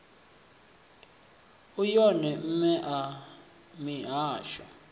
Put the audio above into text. u wone mme a mihasho